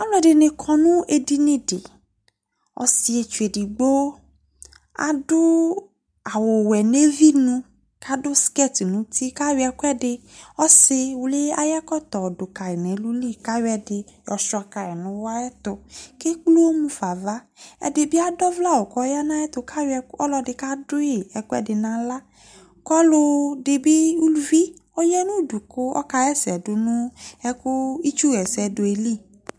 ɔlɔdini akɔ nu edinyi di ɔsietsu edigbo adu awu ɔwuɛ ɔsiwli ayu ɛkɔtɔ du ka nu ɛlu ayɔ ɛdi yɔ chua ka nu uwɔ lekple uwɔ mu fa nu ava ɔlɔdi kadiu ɛkuɛdi naɣla kɔlɔdi bi uluvi ɔɣanudu kɔkawa ɛsɛ du nu itsuwɛsɛ li